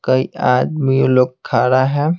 कई आदमी लोग खा रहा है।